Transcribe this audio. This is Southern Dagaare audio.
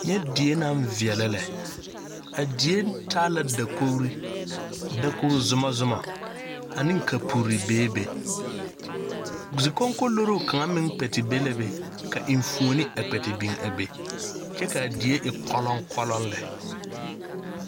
Nyɛ die naŋ veɛlɛ lɛ a die taa la dakogri dakogzumɔzumɔ ane kapuri bebe zikogkoloroo kaŋ meŋ kpɛ te be la be ka eŋfuoni a kpɛ te biŋ a be kyɛ kaa die e kɔlɔŋkɔlɔŋ lɛ.